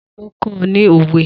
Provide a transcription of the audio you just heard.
Ta ló kó ọ ní òwe?